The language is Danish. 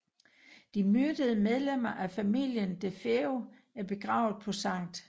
De myrdede medlemmer af familien DeFeo er begravet på St